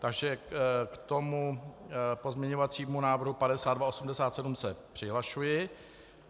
Takže k tomuto pozměňovacímu návrhu 5287 se přihlašuji.